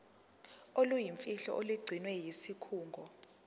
oluyimfihlo olugcinwe yisikhungo